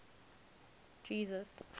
jesus